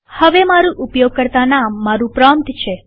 હવે મારુ ઉપયોગકર્તા નામ મારુ પ્રોમ્પ્ટ છે